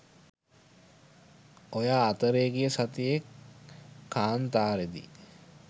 ඔයා අතරේ ගිය සතියේ කාන්තාරේ දි